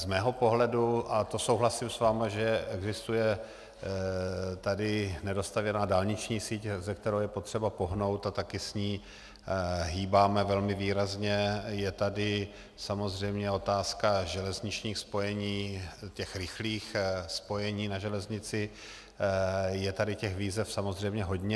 Z mého pohledu, a to souhlasím s vámi, že existuje tady nedostavěná dálniční síť, se kterou je potřeba pohnout, a také s ní hýbáme velmi výrazně, je tady samozřejmě otázka železničních spojení, těch rychlých spojení na železnici, je tady těch výzev samozřejmě hodně.